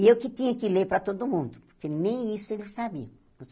E eu que tinha que ler para todo mundo, porque nem isso eles sabiam.